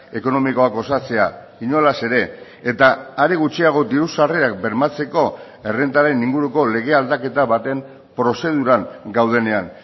ekonomikoak osatzea inolaz ere eta are gutxiago diru sarrerak bermatzeko errentaren inguruko lege aldaketa baten prozeduran gaudenean